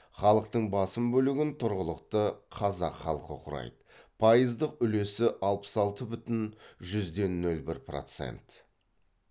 халықтың басым бөлігін тұрғылықты қазақ халқы құрайды пайыздық үлесі алпыс алты бүтін жүзден нөл бір процент